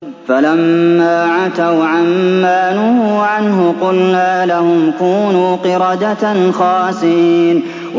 فَلَمَّا عَتَوْا عَن مَّا نُهُوا عَنْهُ قُلْنَا لَهُمْ كُونُوا قِرَدَةً خَاسِئِينَ